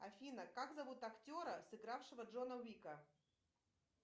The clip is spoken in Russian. афина как зовут актера сыгравшего джона уика